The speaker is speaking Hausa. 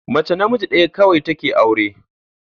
Mace namiji ɗaya kawai take aure